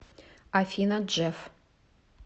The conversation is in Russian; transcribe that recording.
афина джефф